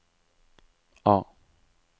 A